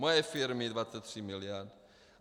Moje firmy 23 miliard.